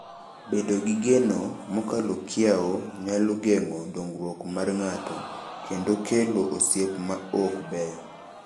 Bedo gi geno mokalo kiewo nyalo geng’o dongruok mar ng’ato kendo kelo osiep ma ok beyo.